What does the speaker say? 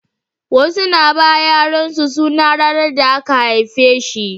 Wasu na ba yaran su sunan ranar da aka haife shi